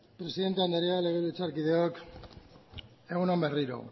presidente andrea legebiltzarkideok egun on berriro